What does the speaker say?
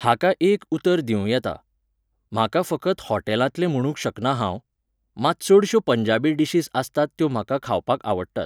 हाका एक उतर दिवं येता. म्हाका फकत हॉटेलांतलें म्हणूंक शकना हांव, मात चडश्यो पंजाबी डीशीज आसतात त्यो म्हाका खावपाक आवडटात.